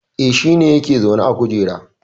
E, shi ne yake zaune a kujera